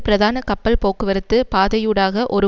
பிரதான கப்பல் போக்குவரத்து பாதையூடாக ஒரு